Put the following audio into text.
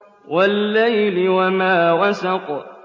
وَاللَّيْلِ وَمَا وَسَقَ